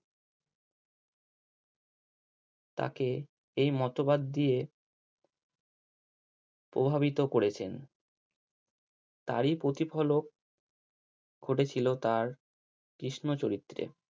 তাকে এই মতবাদ দিয়ে প্রভাবিত করেছেন। তারই প্রতিফলক ঘটেছিলো তার কৃষ্ণ চরিত্রে